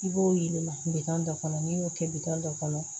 I b'o yɛlɛma kilegan dɔ kɔnɔ n'i y'o kɛ bitɔn dɔ kɔnɔ